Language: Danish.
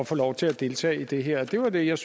få lov til at deltage i det her og det var det jeg